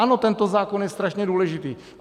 Ano, tento zákon je strašně důležitý.